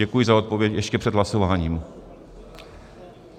Děkuji za odpověď ještě před hlasováním.